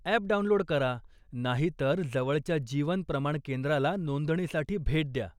App download करा नाही तर जवळच्या जीवन प्रमाण केंद्राला नोंदणीसाठी भेट द्या.